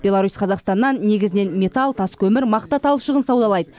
беларусь қазақстаннан негізінен металл тас көмір мақта талшығын саудалайды